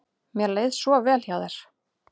Mér leið svo vel hjá þér.